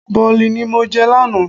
Bọ̀lì ni mo jẹ lánàá.